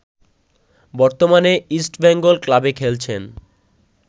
বর্তমানে ইস্টবেঙ্গল ক্লাবে খেলছেন